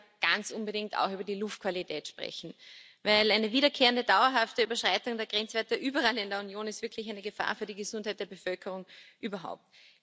Wir müssen aber ganz unbedingt auch über die Luftqualität sprechen, denn eine wiederkehrende dauerhafte Überschreitung der Grenzwerte überall in der Union ist wirklich eine Gefahr für die Gesundheit der Bevölkerung überhaupt.